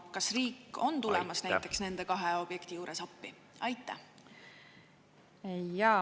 Ja kas riik on tulemas näiteks nende kahe objekti juures appi?